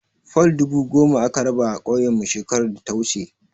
Fol dubu goma aka raba a ƙauyenmu shekarar data wuce.